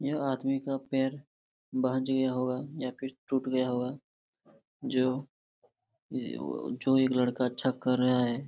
यह आदमी का पैर बहज गया होगा या फिर टूट गया होगा जो ये वो जो एक लड़का अच्छा कर रहा है।